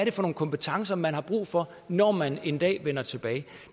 er for nogen kompetencer man har brug for når man en dag vender tilbage